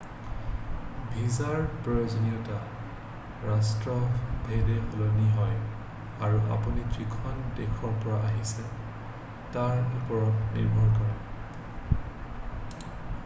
ভিছাৰ প্ৰয়োজনীয়তা ৰাষ্ট্ৰভেদে সলনি হয় আৰু আপুনি যিখন দেশৰ পৰা আহিছে তাৰ ওপৰত নিৰ্ভৰ কৰে